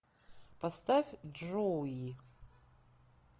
поставь джоуи